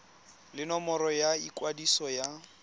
le nomoro ya ikwadiso ya